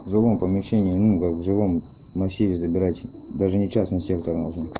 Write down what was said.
в другом помещении в жилом массиве забирать даже не частный сектор